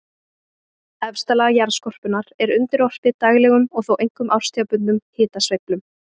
Efsta lag jarðskorpunnar er undirorpið daglegum og þó einkum árstíðabundnum hitasveiflum.